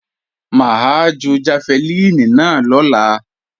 Mà á ju jafẹlíìnì náà lọ́la